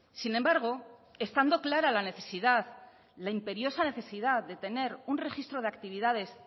sin embargo estando clara la necesidad la imperiosa necesidad de tener un registro de actividades